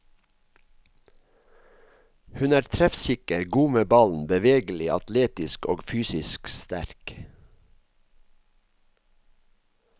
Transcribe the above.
Hun er treffsikker, god med ballen, bevegelig, atletisk og fysisk sterk.